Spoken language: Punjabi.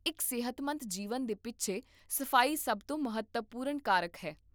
ਇੱਕ ਸਿਹਤਮੰਦ ਜੀਵਨ ਦੇ ਪਿੱਛੇ ਸਫ਼ਾਈ ਸਭ ਤੋਂ ਮਹੱਤਵਪੂਰਨ ਕਾਰਕ ਹੈ